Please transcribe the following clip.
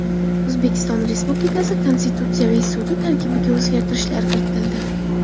O‘zbekiston Respublikasi Konstitutsiyaviy sudi tarkibiga o‘zgartishlar kiritildi.